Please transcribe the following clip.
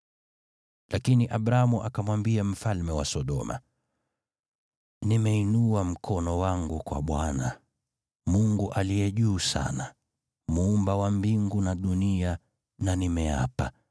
Lakini Abramu akamwambia mfalme wa Sodoma, “Nimeinua mkono wangu kwa Bwana , Mungu Aliye Juu Sana, Muumba wa mbingu na dunia, na nimeapa